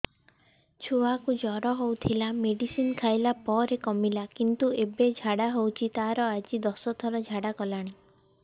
ଛୁଆ କୁ ଜର ହଉଥିଲା ମେଡିସିନ ଖାଇଲା ପରେ କମିଲା କିନ୍ତୁ ଏବେ ଝାଡା ହଉଚି ତାର ଆଜି ଦଶ ଥର ଝାଡା କଲାଣି